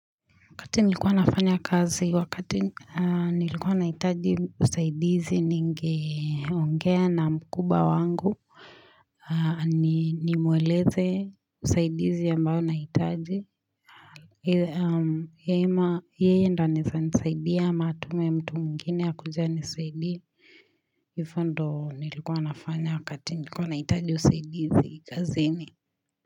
Wakati nilikuwa nafanya kazi, wakati nilikuwa nahitaji usaidizi ningeongea na mkubwa wangu. Nimweleze usaidizi ambao nahitaji. Yeye ndio anaweza nisaidia ama amtume mtu mwingine aje anisaidie. Vifundo nilikuwa nafanya wakati nilikuwa nahitaji usaidizi kaziini.